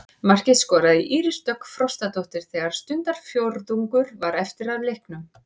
Markið skoraði Íris Dögg Frostadóttir þegar stundarfjórðungur var eftir af leiknum.